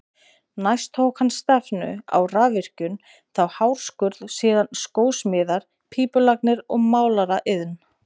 Næst tók hann stefnu á rafvirkjun, þá hárskurð, síðan skósmíðar, pípulagnir og málaraiðn.